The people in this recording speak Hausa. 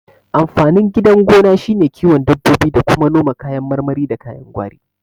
Amfanin gidan gona shine kiwon dabbobi da kuma noma kayan marmari da kayan gwari